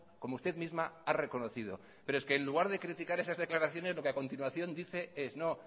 como usted misma ha reconocido pero es que en lugar de criticar esas declaraciones lo que a continuación dice es no